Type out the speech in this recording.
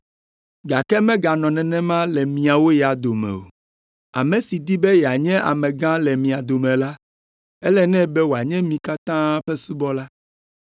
gake meganɔ nenema le miawo ya dome o. Ame si di be yeanye amegã le mia dome la, ele nɛ be wòanye mi katã ƒe subɔla,